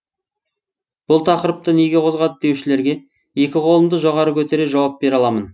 бұл тақырыпты неге қозғады деушілерге екі қолымды жоғары көтере жауап бере аламын